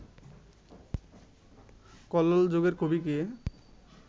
কল্লোল যুগের কবি কে